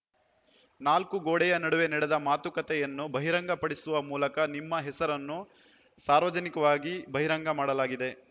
ನಾಲ್ಕು ಗೋಡೆಯ ನಡುವೆ ನಡೆದ ಮಾತುಕತೆಯನ್ನು ಬಹಿರಂಗಪಡಿಸುವ ಮೂಲಕ ನಿಮ್ಮ ಹೆಸರನ್ನು ಸಾರ್ವಜನಿಕವಾಗಿ ಬಹಿರಂಗ ಮಾಡಲಾಗಿದೆ